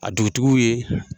A dugutigiw ye.